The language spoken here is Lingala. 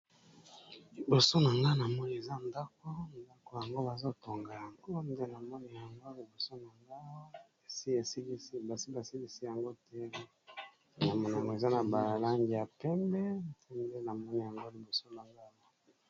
Liboso na nga na moi eza ndako ndako yango bazotonga yanko ndelamoni yango libosu na nga esi esikisi basi basikisi yango te na monamo eza na balangi ya pembe te nde na moni yango liboso bangala.